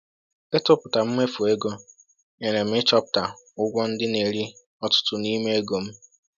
Ịtụpụta mmefu ego nyere m ịchọpụta ụgwọ ndị na-eri ọtụtụ n’ime ego m.